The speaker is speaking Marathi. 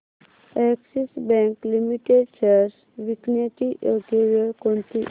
अॅक्सिस बँक लिमिटेड शेअर्स विकण्याची योग्य वेळ कोणती